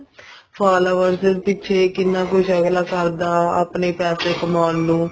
followers ਪਿੱਛੇ ਅਗਲਾ ਕਿੰਨਾ ਕੁਛ ਕਰਦਾ ਆਪਣੇ ਪੈਸੇ ਕਮਾਉਣ ਨੂੰ